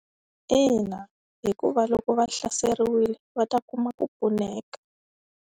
Ina hikuva loko va hlaseriwile va ta kuma ku pfuneka.